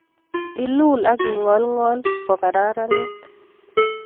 Ilul ak ing'olng'ol kokararanit